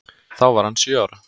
Þá var hann sjö ára.